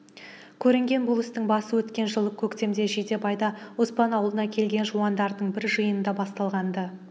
көрінген бұл істің басы өткен жылы көктемде жидебайда оспан аулына келген жуандардың бір жиыныңда басталған-ды